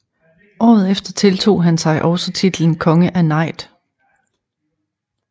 Året efter tiltog han sig også titlen konge af Najd